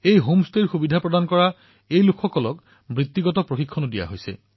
home ষ্টেৰ সুবিধা প্ৰদান কৰা লোকসকলক পেছাগত প্ৰশিক্ষণো প্ৰদান কৰা হৈছে